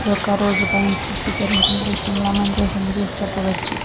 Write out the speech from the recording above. ఇదొక రోడ్డు పై నించి చిత్రీకరించిన దృశ్యం లా మనం ఈ దృశ్యం చూసి చెప్పవచ్చు.